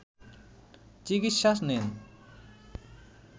চিকিৎসা নেন